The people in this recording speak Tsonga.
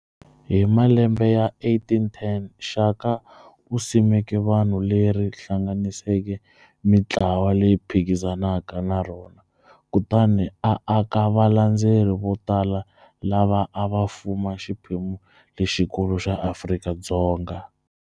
Hi malembe ya 1810, Shaka u simeke vanhu leri hlanganiseke mintlawa leyi phikizanaka na rona kutani a aka valandzeri vo tala lava a va fuma xiphemu lexikulu xa Afrika-Dzonga.